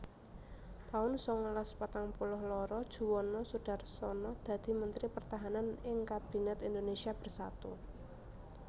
taun sangalas patang puluh loro Juwono Sudarsono dadi Mentri Pertahanan ing Kabinet Indonésia Bersatu